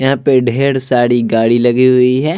यहां पर ढेर सारी गाड़ी लगी हुई है|